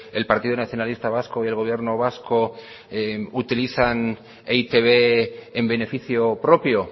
el partido nacionalista vasco y el gobierno vasco utilizan e i te be en beneficio propio